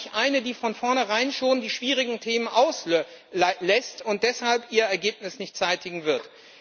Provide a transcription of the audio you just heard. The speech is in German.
Aber nicht eine, die von vornherein schon die schwierigen Themen auslässt und deshalb ihr Ergebnis nicht zeitigen wird.